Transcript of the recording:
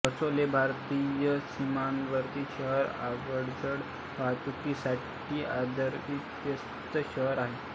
रक्सौल हे भारतीय सीमावर्ती शहर अवजड वाहतुकीसाठी सर्वाधिक व्यस्त शहर आहे